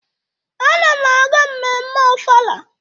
Ana m aga mmemme Ọfala.